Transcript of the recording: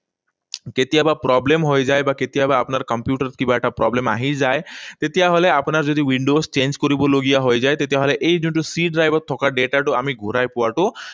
কেতিয়াবা problem হৈ যায়, বা কেতিয়াবা আপোনাৰ কম্পিউটাৰত কিবা এটা problem আহি যায়। তেতিয়াহলে আপোনাৰ যদি windows change কৰিব লগা হৈ যায়, তেতিয়াহলে এই যোনটো C drive ত থকা data টো আমি ঘূৰাই পোৱাটো